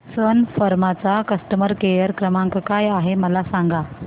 सन फार्मा चा customer care क्रमांक काय आहे मला सांगा